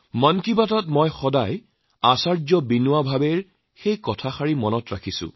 মন কী বাতত মই প্ৰায়েই আচাৰ্য বিনোৱা ভাবেৰ সেই কথাটি মনত ৰাখো